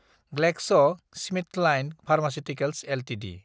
GlaxoSmithKline pharmaceuticals Ltd